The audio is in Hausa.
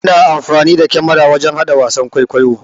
Ana amfani da kamara wajan hada wasan ƙwaikwayo.